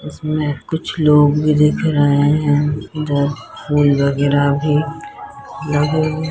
इसमें कुछ लोग भी दिख रहे हैं वो फूल वगैरह भी लगे हु --